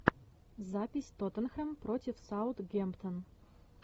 запись тоттенхэм против саутгемптон